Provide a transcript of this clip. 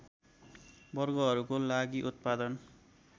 वर्गहरूको लागि उत्पादन